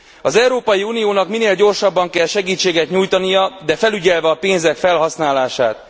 Az Európai Uniónak minél gyorsabban kell segítséget nyújtania, de felügyelve a pénzek felhasználását.